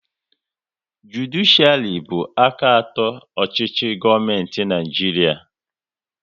Judishiari bụ aka atọ nke ọchịchị gọọmenti Naijiria